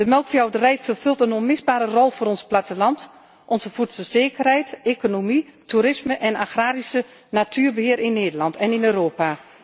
De melkveehouderij vervult een onmisbare rol voor ons platteland, onze voedselzekerheid, de economie, het toerisme en agrarisch natuurbeheer in Nederland en in Europa.